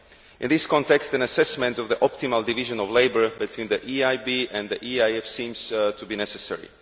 In this context, an assessment of the optimal division of labour between the EIB and the EIF seems to be necessary.